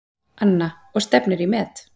Anna: Og stefnir í met?